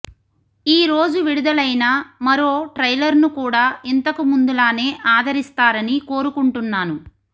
ఈ రోజు విడుదలైన మరో ట్రైలర్ను కూడా ఇంతకు ముందులానే ఆదరిస్తారని కోరుకుంటున్నాను